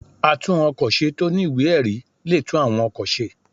Àtún-ọ̀kọ̀ ṣe tọ ní ìwẹ́-erí le tún awọ́n òkọ̀ sẹ́